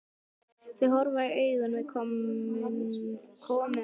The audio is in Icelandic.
Þau horfast í augu við komumann.